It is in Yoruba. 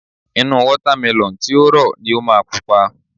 Inú Wọ́támẹlọ̀n tí ó rọ̀ ni ó máa pupa